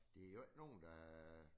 De jo ikke nogen der